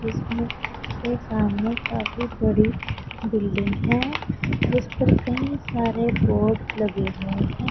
के सामने काफी बड़ी बिल्डिंग है जिस पर कई सारे बोर्ड लगे हुए हैं।